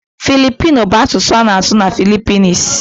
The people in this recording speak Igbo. Filipino bụ asụsụ a na-asụ na Philippines.